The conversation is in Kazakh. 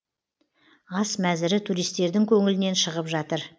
ас мәзірі туристердің көңілінен шығып жатыр